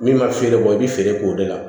Min ma feere bɔ i bɛ feere k'o de la